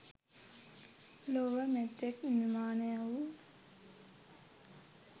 ලොව මෙතෙක් නිර්මාණය වූ